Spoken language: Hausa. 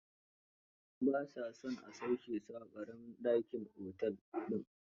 Ba sa son a sauke su a ƙaramin dakin otel din